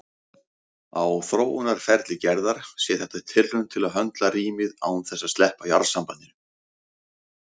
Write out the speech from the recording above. Á þróunarferli Gerðar sé þetta tilraun til að höndla rýmið án þess að sleppa jarðsambandinu.